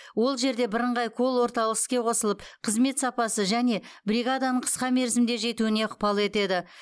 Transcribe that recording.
ол жерде бірыңғай колл орталық іске қосылып қызмет сапасы және бригаданың қысқа мерзімде жетуіне ықпал етеді